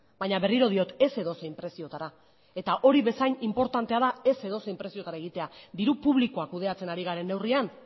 baina berriro diot ez edozein preziotara eta hori bezain inportantea da ez edozein preziotara egitea diru publikoa kudeatzen ari garen neurrian